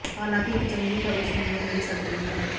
ਹਾਲਾਂਕਿ ਇਕ ਚੰਗੀ ਖਬਰ ਸੁਣਨ ਨੂੰ ਮਿਲ ਸਕਦੀ ਹੈ